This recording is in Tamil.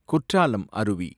குற்றாலம் அருவி